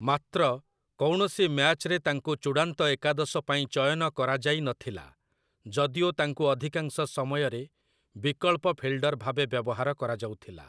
ମାତ୍ର, କୌଣସି ମ୍ୟାଚ୍‌ରେ ତାଙ୍କୁ ଚୂଡ଼ାନ୍ତ ଏକାଦଶ ପାଇଁ ଚୟନ କରାଯାଇନଥିଲା, ଯଦିଓ ତାଙ୍କୁ ଅଧିକାଂଶ ସମୟରେ ବିକଳ୍ପ ଫିଲ୍ଡର୍ ଭାବେ ବ୍ୟବହାର କରାଯାଉଥିଲା ।